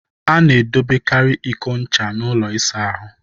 Ana edobekari iko ncha n'ụlọ isa ahụ.